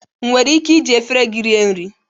Enwere m ike iji efere gị rie nri